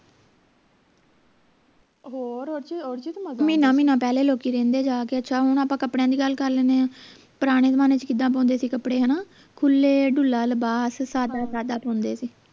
ਮਹੀਨਾ ਮਹੀਨਾ ਪਹਿਲੇ ਰਹਿੰਦੇ ਲੋਕੀ ਜਾ ਕੇ ਅੱਛਾ ਹੁਣ ਆਪਾਂ ਕੱਪੜਿਆਂ ਦੀ ਗੱਲ ਕਰ ਲੈਣੇ ਆ ਪੁਰਾਣੇ ਜਮਾਨੇ ਚ ਕਿੱਦਾਂ ਪਾਉਂਦੇ ਸੀ ਕਪੜੇ ਹਣਾ ਖੁਲੇ ਢੁਲਾ ਲਿਬਾਸ ਸਾਦਾ ਸਾਦਾ ਪਾਉਂਦੇ ਸੀ